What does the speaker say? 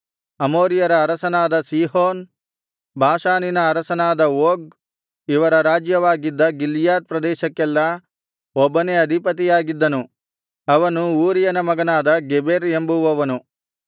ಅಮೋರಿಯರ ಅರಸನಾದ ಸೀಹೋನ್ ಬಾಷಾನಿನ ಅರಸನಾದ ಓಗ್ ಇವರ ರಾಜ್ಯವಾಗಿದ್ದ ಗಿಲ್ಯಾದ್ ಪ್ರದೇಶಕ್ಕೆಲ್ಲಾ ಒಬ್ಬನೇ ಅಧಿಪತಿಯಾಗಿದ್ದನು ಅವನು ಊರಿಯನ ಮಗನಾದ ಗೆಬೆರ್ ಎಂಬುವವನು